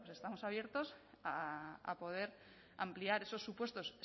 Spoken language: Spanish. bueno pues estamos abiertos a poder ampliar esos supuestos